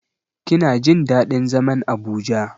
Kina jin daɗin zaman Abuja.